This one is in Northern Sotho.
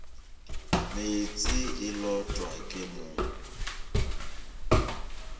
meetse e lotwa ke mong